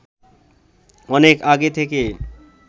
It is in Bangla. অনেক আগে থেকে